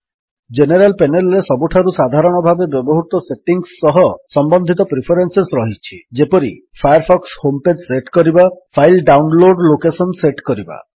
general panel ରେ ସବୁଠାରୁ ସାଧାରଣ ଭାବେ ବ୍ୟବହୃତ ସେଟିଙ୍ଗ୍ସ ସହ ସମ୍ୱନ୍ଧିତ ପ୍ରିଫରେନ୍ସେସ୍ ରହିଛି ଯେପରି ଫାୟାରଫକ୍ସ ହୋମ୍ ପେଜ୍ ସେଟ୍ କରିବା ଫାଇଲ୍ ଡାଉନଲୋଡ୍ ଲୋକେଶନ୍ ସେଟ୍ କରିବା